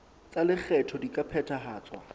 tsa lekgetho di ka phethahatswa